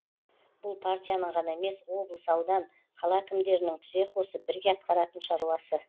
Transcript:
бұл партияның ғана емес облыс аудан қала әкімдерінің тізе қосып бірге атқаратын шаруасы